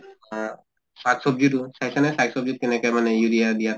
হা? চাক বব্জি দোকানত চাইছা নে চাক চব্জি কেনেকে মানে urea দিয়া